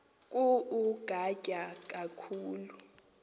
ku ugatya khulu